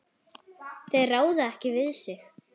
Þeir ráða ekki við sig.